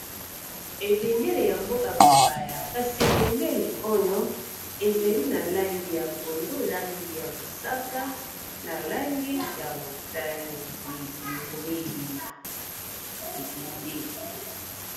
Ebendeli ya mboka bapaya, kasi ebendeli oyo ezali na langi ya pondu, langi ya mosaka, na langi ya motane, ebendele.